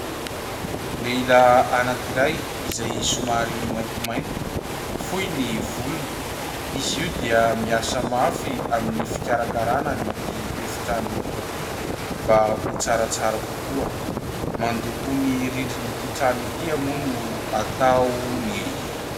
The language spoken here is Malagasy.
Lehilahy anankiray izay somary maintimainty, fohy ny volony. Izy io dia miasa mafy amin'ny fikarakarana an'ity efitrano ity mba ho tsaratsara kokoa. Mandoko ny rindrin'ity trano ity moa no ataony.